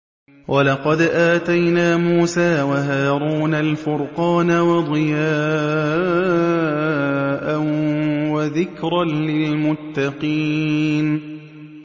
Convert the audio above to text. وَلَقَدْ آتَيْنَا مُوسَىٰ وَهَارُونَ الْفُرْقَانَ وَضِيَاءً وَذِكْرًا لِّلْمُتَّقِينَ